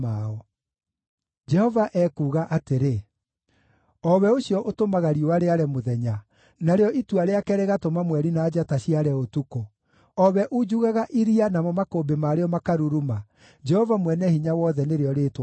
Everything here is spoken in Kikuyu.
Jehova ekuuga atĩrĩ, o we ũcio ũtũmaga riũa rĩare mũthenya, narĩo itua rĩake rĩgatũma mweri na njata ciare ũtukũ, o we unjugaga iria namo makũmbĩ marĩo makaruruma, Jehova Mwene-Hinya-Wothe nĩrĩo rĩĩtwa rĩake: